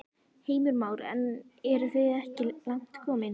Heimir Már: En eru þið ekki langt komin?